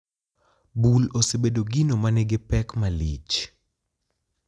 Bul osebedo gino ma nigi pek malich.